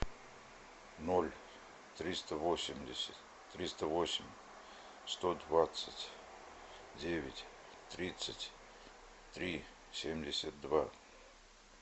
ноль триста восемьдесят триста восемь сто двадцать девять тридцать три семьдесят два